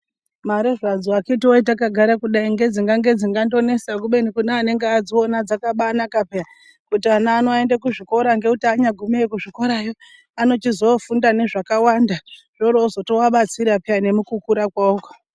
Mare zvadzo vakiti woye dzenge dzingange dzonesa kubeni kinege kuadziona dzakabaanaka pya. Ngekuti ana awo anoenda kuzvikora ,anyaguma kuzvikorayo anochizoofunda zvakawanda .Hotochizoabatsira nemukukura kwawoko.